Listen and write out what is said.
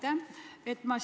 Aitäh!